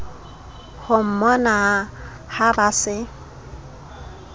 ho mmona ha ba se